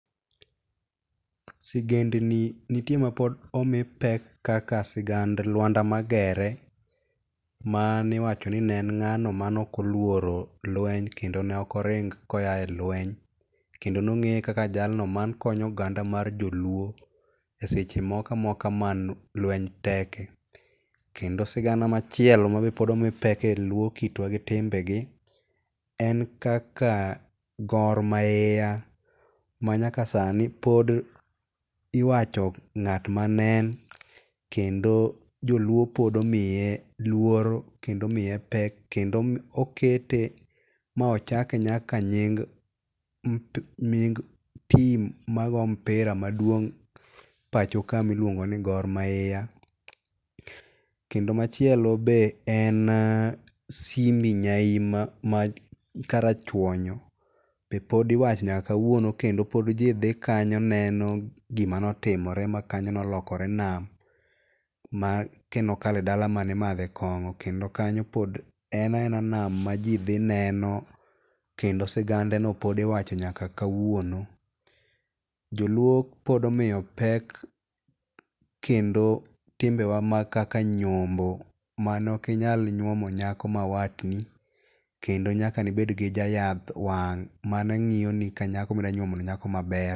Sigendni nitie mapod omi pek kaka sigand lwanda magere maniwacho ni ne en ng'ano mane ok olworo lweny kendo ne ok oring ko a e lweny. Kendo nong'eye kaka jalno manekonyo oganda mar jo luo e seche moko mane lweny teke. Kendo sigana machielo mabe pod omi pek e luo kitwa gi timbegi en kaka Gor Mahia manyaka sani pod iwacho ng'at mane en. Kendo joluo pod omiye luoro kendo omiye pek kendo okete ma ochake nyaka nying tim mago mpira maduong' pacho ka miluongo ni Gor Mahia. Kendo machielo be en Simbi Nyaima ma karachuonyo be pod iwacho nyaka kawuono kendo pod ji dhi kanyo neno gimanotimore ma kanyo nolokore nam. Ma kendo nokalo e dala mane imadhe kongo kendo kanyo pod en a ena nam ma ji dhi neno. Kendo sigande no pod iwacho nyaka kawuono. Joluo pod omiyo pek kendo timbewa ma kaka nyombo manok inyal nyuomo nyako ma watni kendo nyaka nibed gi jayath wang' mane ngiyoni ka nyako midwa nyuomo ni nyako maber.